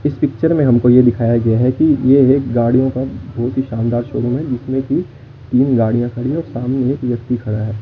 इस पिक्चर में हमको यह दिखाया गया है कि यह एक गाड़ियों का बहुत ही शानदार शोरूम है जिसमें कि तीन गाड़ियां खड़ी हैं और सामने एक व्यक्ति खड़ा है।